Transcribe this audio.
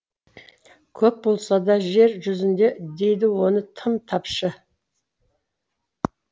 көп болса да жер жүзінде дейді оны тым тапшы